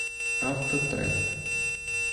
автотренд